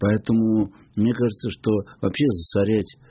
поэтому мне кажется что вообще засорять